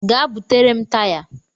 Gaa butere m taya.